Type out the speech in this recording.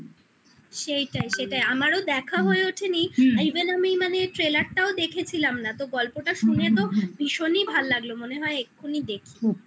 সেইটাই সেটাই আমারও দেখা হয়ে ওঠেনি হুম even আমি মানে trailer -টাও দেখেছিলাম না তো গল্পটা শুনে তো হুম হুম হুম ভীষণই ভালো লাগলো মনে হয় এক্ষুনি দেখি